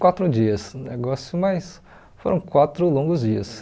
Quatro dias, o negócio mas foram quatro longos dias.